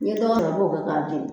Ne dɔgɔ i b'o kɛ k'a jeni